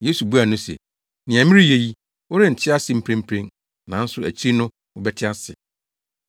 Yesu buaa no se, “Nea mereyɛ yi, worente ase mprempren, nanso akyiri no wobɛte ase.”